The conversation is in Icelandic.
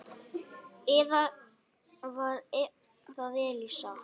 Eða var það Elísa?